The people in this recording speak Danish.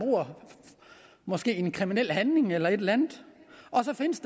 måske en kriminel handling eller et eller andet og så findes